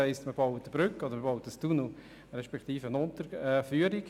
Man baut eine Brücke oder einen Tunnel respektive eine Unterführung.